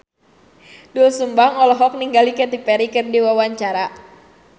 Doel Sumbang olohok ningali Katy Perry keur diwawancara